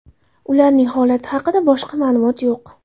Ularning holati haqida boshqa ma’lumot yo‘q.